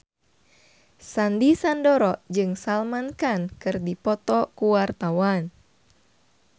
Sandy Sandoro jeung Salman Khan keur dipoto ku wartawan